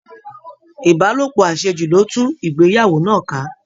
Ìbálòpọ̀ àṣejù ló tú ìgbéyàwó náà ká